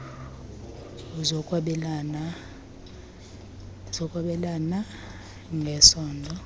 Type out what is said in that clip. zokwabelana ng esondo